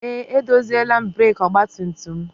Eé, edoziela m breekị ọgbatumtum m.